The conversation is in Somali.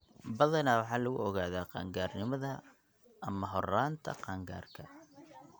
Badanaa waxaa lagu ogaadaa qaan-gaarnimada ama horraanta qaangaarka.